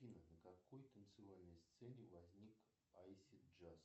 афина на какой танцевальной сцене возник айси джаз